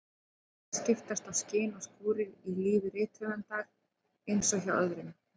En það skiptast á skin og skúrir í lífi rithöfundar eins og hjá öðrum.